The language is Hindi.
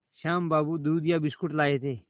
श्याम बाबू दूधिया बिस्कुट लाए थे